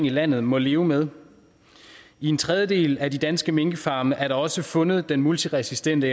landet må leve med i en tredjedel af de danske minkfarme er der også fundet den multiresistente